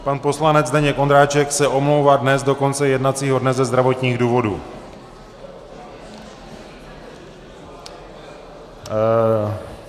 Pan poslanec Zdeněk Ondráček se omlouvá dnes do konce jednacího dne ze zdravotních důvodů.